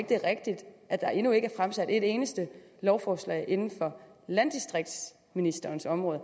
det er rigtigt at der endnu ikke er fremsat et eneste lovforslag inden for landdistriktsministerens område